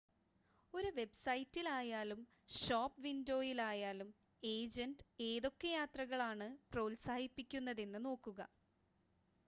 ഒരു വെബ്‌സൈറ്റിലായാലും ഷോപ്പ് വിൻഡോയിലായാലും ഏജൻ്റ് ഏതൊക്കെ യാത്രകളാണ് പ്രോത്സാഹിപ്പിക്കുന്നതെന്ന് നോക്കുക